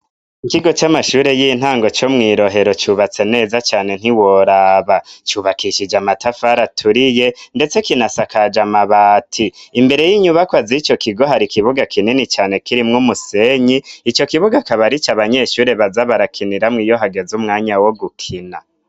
Ikigo c'amashure y'intango co mwi Rohero cubatse neza cane ntiworaba, cubakishije amatafari aturiye ndetse kinasakaje amabati. Imbere y'inyubakwa z'ico kigo hari ikibuga kinini cane kirimwo umusenyi, ico kibuga akaba ari ico abanyeshure bazabarakiniramwo iyo hageze umwanya wo gukina.